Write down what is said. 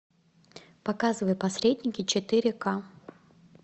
показывай посредники четыре ка